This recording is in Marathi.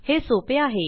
हे सोपे आहे